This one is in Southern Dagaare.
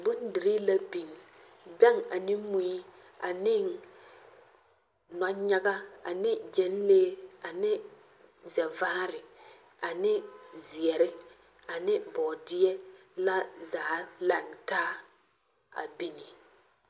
Bondirii la biŋ, bԑŋ ane mui aneŋ nͻnyaga ane gyԑnlee ane zԑvaare ane zeԑre ane bͻͻdeԑ la zaa lantaaa a bini.